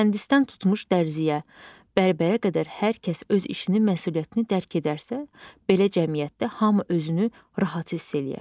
Mühəndisdən tutmuş dərziyə, bərbərə qədər hər kəs öz işini məsuliyyətini dərk edərsə, belə cəmiyyətdə hamı özünü rahat hiss eləyər.